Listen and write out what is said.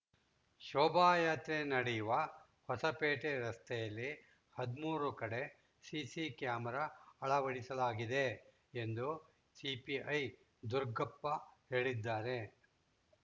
ಶೋಭಾಯಾತ್ರೆ ನಡೆಯುವ ಹೊಸಪೇಟೆ ರಸ್ತೆಯಲ್ಲಿ ಹದಿಮೂರು ಕಡೆ ಸಿಸಿ ಕ್ಯಾಮರ ಅಳವಡಿಸಲಾಗಿದೆ ಎಂದು ಸಿಪಿಐ ದುರುಗಪ್ಪ ಹೇಳಿದ್ದಾರೆ